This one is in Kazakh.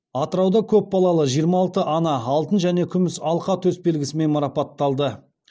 атырауда көп балалы жиырма алты ана алтын және күміс алқа төсбелгісімен марапатталды